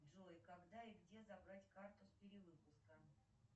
джой когда и где забрать карту с перевыпуска